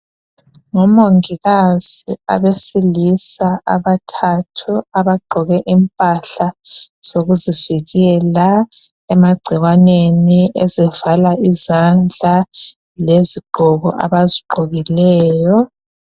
Ngomongikazi abesilisa abathathu abagqoke impahla zokuzivikela emagcikwaneni ezivala izandla lezigqoko abazigqolileyo